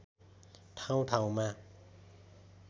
ठाउँ ठाउँमा